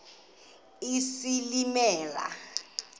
isilimela